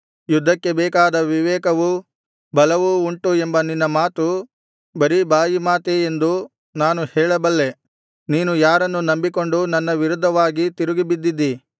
ಯುದ್ಧಕ್ಕೆ ಬೇಕಾದ ವಿವೇಕವೂ ಬಲವೂ ಉಂಟು ಎಂಬ ನಿನ್ನ ಮಾತು ಬರೀ ಬಾಯಿ ಮಾತೇ ಎಂದು ನಾನು ಹೇಳಬಲ್ಲೆ ನೀನು ಯಾರನ್ನು ನಂಬಿಕೊಂಡು ನನ್ನ ವಿರುದ್ಧವಾಗಿ ತಿರುಗಿಬಿದ್ದಿದ್ದೀ